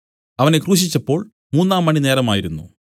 അവനെ ക്രൂശിച്ചപ്പോൾ മൂന്നാംമണി നേരമായിരുന്നു